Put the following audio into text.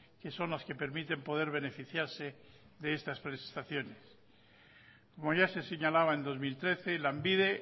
que son las que permiten poder beneficiarse de estas prestaciones como ya se señalaba en dos mil trece lanbide